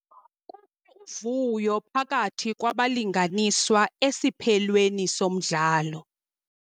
Kukho uvuyo phakathi kwabalinganiswa esiphelweni somdlalo.